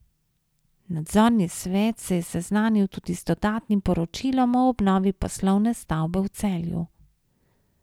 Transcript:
Nadzorni svet se je seznanil tudi z dodatnim poročilom o obnovi poslovne stavbe v Celju.